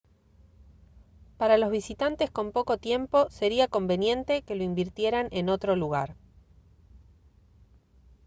para los visitantes con poco tiempo sería conveniente que lo invirtieran en otro lugar